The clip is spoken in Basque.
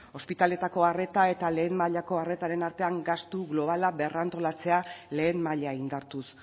ospitaleko arreta eta lehen mailako arretaren artean gastu globala berrantolatzea lehen maila indartuz